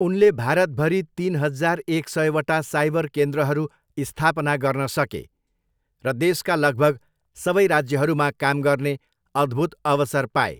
उनले भारतभरि तिन हजार एक सयवटा साइबर केन्द्रहरू स्थापना गर्न सके र देशका लगभग सबै राज्यहरूमा काम गर्ने अद्भुत अवसर पाए।